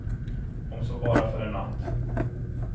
Om så bara för en natt.